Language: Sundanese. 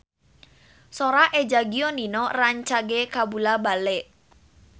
Sora Eza Gionino rancage kabula-bale